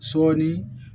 Sɔɔni